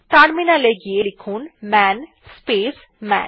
terminal এ গিয়ে লিখুন মান স্পেস মান